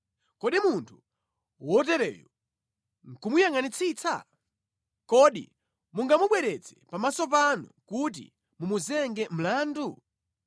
Kodi munthu wotereyo nʼkumuyangʼanitsitsa? Kodi mungamubweretse pamaso panu kuti mumuzenge mlandu?